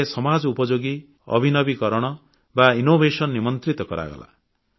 ଏଥିରେ ସମାଜ ଉପଯୋଗୀ ନବସୃଜନ ବା ଇନୋଭେସନ ନିମନ୍ତ୍ରିତ କରାଗଲା